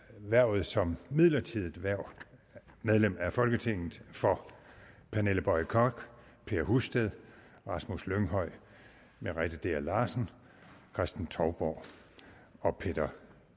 hvervet som midlertidigt medlem af folketinget for pernille boye koch per husted rasmus lynghøj merete dea larsen kristen touborg og peder